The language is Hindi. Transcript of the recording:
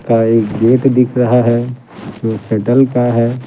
का एक गेट दिख रहा है जो सटल का है।